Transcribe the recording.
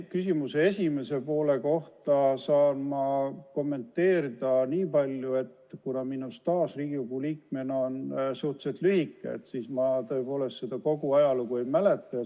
Küsimuse esimesele poole vastates saan ma kommenteerida nii palju, et kuna minu staaž Riigikogu liikmena on suhteliselt lühike, siis ma seda kogu ajalugu ei tea.